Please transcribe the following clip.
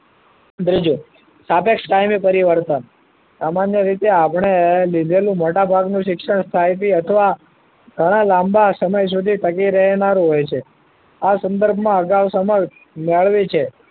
ત્રીજું સાપેક્ષ ટાઈમે પરિવર્તન સામાન્ય રીતે આપણે લીધેલું મોટાભાગનું શિક્ષણ સાહેબે અથવા ઘણા લાંબા સમય સુધી ટકી રહેનારું હોય છે આ સંદર્ભમાં અગાઉ સમક્ષ મેળવી છે